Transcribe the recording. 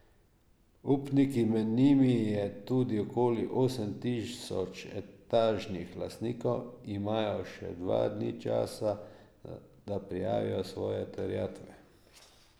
Upniki, med njimi je tudi okoli osem tisoč etažnih lastnikov, imajo še dva dni časa, da prijavijo svoje terjatve.